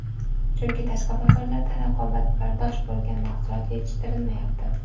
Chunki tashqi bozorlarda raqobatbardosh bo‘lgan mahsulot yetishtirilmayapti.